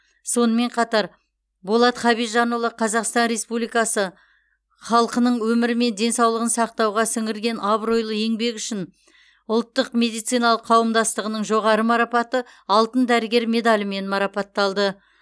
сонымен қатар болат хабижанұлы қазақстан республикасы халқының өмірі мен денсаулығын сақтауға сіңірген абыройлы еңбегі үшін ұлттық медициналық қауымдастығының жоғары марапаты алтын дәрігер медалімен марапатталды